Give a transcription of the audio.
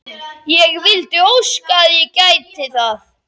Ég vildi óska að ég gæti það.